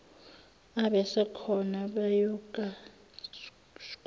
abasekhona bayoku skorishwa